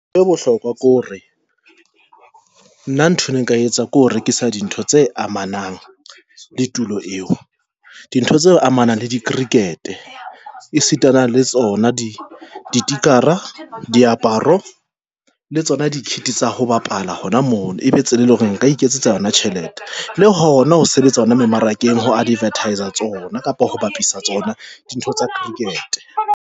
Ya bohlokwa ke hore, na nthwe ne nka etsa ke ho rekisa dintho tse amanang le tulo eo dintho tse amanang le di-cricket e sitana le tsona ditikara, a diaparo, le tsona di-kit tsa ho bapala hona mono ebe tsela e leng hore nka iketsetsa yona tjhelete le hona ho sebetsa hona mmarakeng ho advertis-a tsona kapa ho bapisa tsona dintho tsa cricket.